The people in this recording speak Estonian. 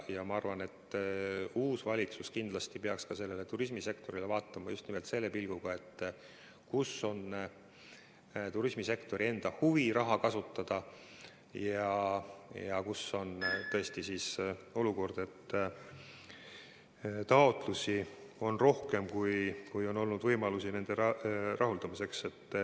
Ma arvan, et uus valitsus peaks kindlasti ka turismisektorile vaatama just nimelt selle pilguga, et kus on turismisektori enda huvi raha kasutada ja kus on tõesti olukord, et taotlusi on rohkem, kui on olnud võimalusi nende rahuldamiseks.